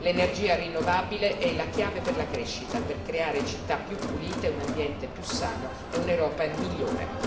L'energia rinnovabile è la chiave per la crescita, per creare città più pulite, un ambiente più sano e un'Europa migliore.